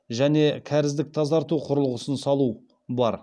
және кәріздік тазарту құрылғысын салу бар